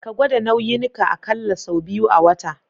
Ka gwada nauyin ka akalla sau biyu a wata.